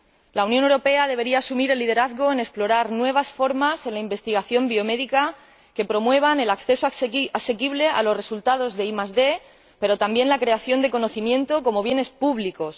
La Unión Europea debería asumir el liderazgo en explorar nuevas formas en la investigación biomédica que promuevan el acceso asequible a los resultados de ID, pero también la creación de conocimiento como bienes públicos.